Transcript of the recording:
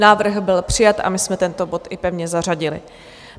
Návrh byl přijat a my jsme tento bod i pevně zařadili.